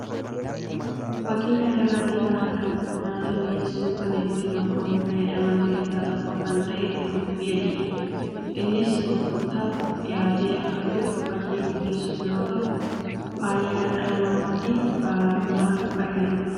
Fakkii kana irratti kan argamu nyaata mi'eessuuf kan itti namoonni fayyadaman keessaa tokko kan ta'e qullubbii adii dha. Innis gurgurtaaf dhiyaatee akka jiru fakkii mul'isu yeroo ta'u; fayyaa dhala namaatiifis nyaata fayyaduu dha.